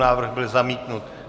Návrh byl zamítnut.